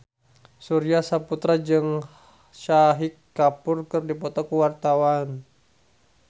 Surya Saputra jeung Shahid Kapoor keur dipoto ku wartawan